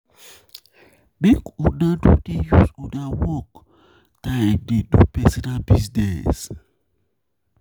Make una no dey use una work use una work time dey do personal business.